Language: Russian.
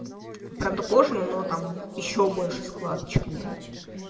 правда кожу но там ещё больше складочка была